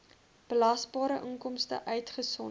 belasbare inkomste uitgesonderd